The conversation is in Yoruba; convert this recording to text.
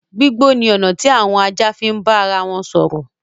Gbígbó ni ọ̀nà tí àwọn ajá fi ń bá ara wọn sọ̀rọ̀.